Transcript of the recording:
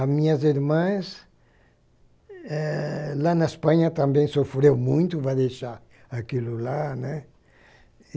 As minhas irmãs, eh, lá na Espanha também sofreu muito, vai deixar aquilo lá, né?